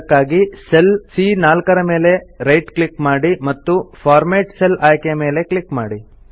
ಅದಕ್ಕಾಗಿ ಸೆಲ್ ಸಿಎ4 ಮೇಲೆ ರೈಟ್ ಕ್ಲಿಕ್ ಮಾಡಿ ಮತ್ತು ಫಾರ್ಮ್ಯಾಟ್ ಸೆಲ್ ಆಯ್ಕೆಯ ಮೇಲೆ ಕ್ಲಿಕ್ ಮಾಡಿ